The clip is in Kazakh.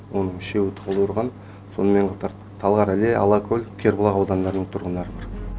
оның үшеуі талдықорған сонымен қатар талғар іле алакөл кербұлақ аудандарының тұрғындары бар